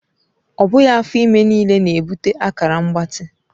Ọ bụghị afọ ime niile na-ebute akara mgbatị.